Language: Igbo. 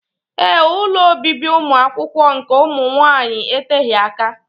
Ee, ụlọ obibi ụmụakwụkwọ nke ụmụnwaanyị eteghị aka.